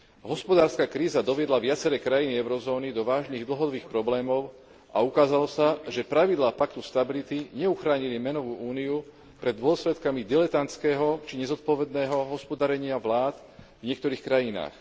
Hospodárska kríza doviedla viaceré krajiny eurozóny do vážnych dlhodobých problémov a ukázalo sa, že pravidlá paktu stability neuchránili menovú úniu pred dôsledkami diletantského či nezodpovedného hospodárenia vlád v niektorých krajinách.